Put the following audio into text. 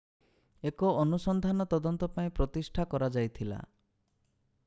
ଏକ ଅନୁସନ୍ଧାନ ତଦନ୍ତ ପାଇଁ ପ୍ରତିଷ୍ଠା କରାଯାଇଥିଲା